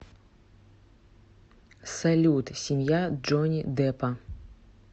салют семья джонни деппа